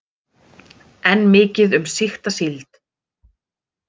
Enn mikið um sýkta síld